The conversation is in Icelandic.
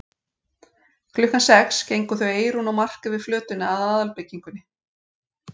Klukkan sex gengu þau Eyrún og Mark yfir flötina að aðalbyggingunni.